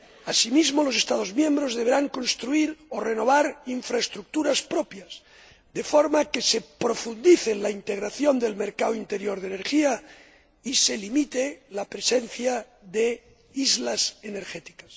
Asimismo, los Estados miembros deberán construir o renovar infraestructuras propias, de forma que se profundice en la integración del mercado interior de energía y se limite la presencia de islas energéticas.